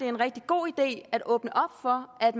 en rigtig god idé at åbne op for at